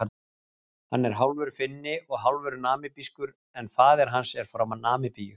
Hann er hálfur Finni og hálfur Namibískur en faðir hans er frá Namibíu.